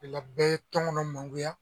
Ola bɛɛ ye tɔnkɔnɔ mangoya